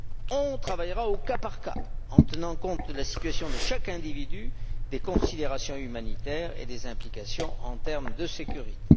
On travaillera au cas par cas, en tenant compte de la situation de chaque individu, des considérations humanitaires et des implications en termes de sécurité.